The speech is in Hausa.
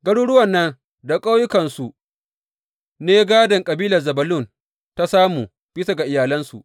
Garuruwan nan da ƙauyukansu su ne gādon da kabilar Zebulun ta samu, bisa ga iyalansu.